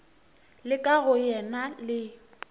la ka go yena le